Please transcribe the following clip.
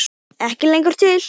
Ekki lengur til!